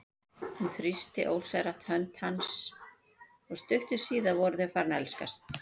Hún þrýsti ósjálfrátt hönd hans og stuttu síðar voru þau farin að elskast.